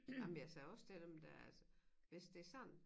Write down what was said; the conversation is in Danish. Ej men jeg sagde også til dem dér at hvis det sådan